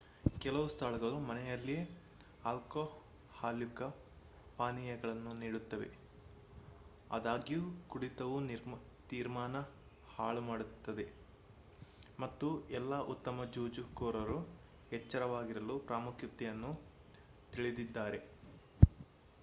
ಕೆಲವು ಸ್ಥಳಗಳು ಮನೆಯಲ್ಲಿಯೆ ಆಲ್ಕೊಹಾಲ್ಯುಕ್ತ ಪಾನೀಯಗಳನ್ನು ನೀಡುತ್ತವೆ ಆದಾಗ್ಯೂ ಕುಡಿತವು ತೀರ್ಮಾನ ಹಾಳುಮಾಡುತ್ತದೆ ಮತ್ತು ಎಲ್ಲಾ ಉತ್ತಮ ಜೂಜುಕೋರರು ಎಚ್ಚರವಾಗಿರಲು ಪ್ರಾಮುಖ್ಯತೆಯನ್ನು ತಿಳಿದಿದ್ದಾರೆ